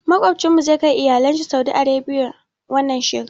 Maƙocinmu zai kai iyalinsa saudi Arabia wannan shekarar.